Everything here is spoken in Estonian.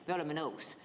Me oleme nõus.